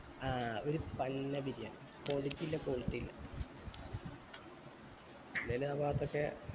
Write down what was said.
ആഹ് ഒരു ഫല്ല ബിരിയാണി quantity ഇല്ല quality ഇല്ല പിന്നെ ആ ബാത്ത് ഒക്കെ